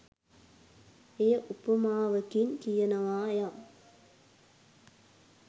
එය උපමාවකින් කියනවා යම්